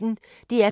DR P1